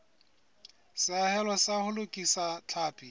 seahelo sa ho lokisa tlhapi